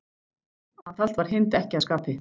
Aðhald var Hind ekki að skapi.